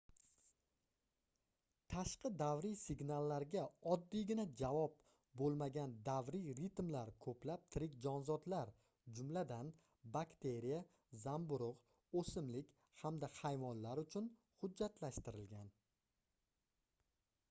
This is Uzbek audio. tashqi davriy signallarga oddiygina javob boʻlmagan davriy ritmlar koʻplab tirik jonzotlar jumladan bakteriya zamburugʻ oʻsimlik hamda hayvonlar uchun hujjatlashtirilgan